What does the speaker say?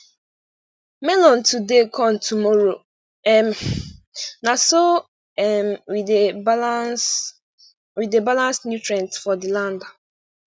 melon today corn tomorrow um na so um we dey balance we dey balance nutrient for the land